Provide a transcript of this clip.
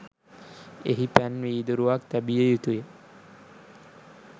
එහි පැන් වීදුරුවක් තැබිය යුතු ය.